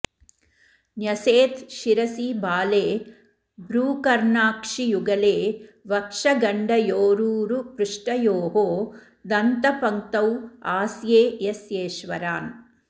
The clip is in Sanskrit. न्यसेत् शिरसि भाले भ्रूकर्णाक्षियुगले वक्षगण्डयोरूरुपृष्ठयोः दन्तपङ्क्तौ आस्ये यस्येश्वरान्